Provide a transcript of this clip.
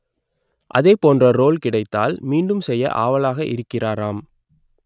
அதேபோன்ற ரோல் கிடைத்தால் மீண்டும் செய்ய ஆவலாக இருக்கிறாராம்